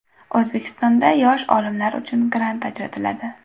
O‘zbekistonda yosh olimlar uchun grant ajratiladi.